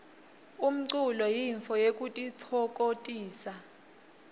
umlulo yintfo yekutitfokotisa